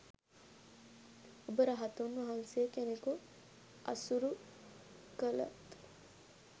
ඔබ රහතුන් වහන්සේ කෙනෙකු අසුරු කලත්